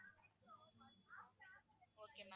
okay ma'am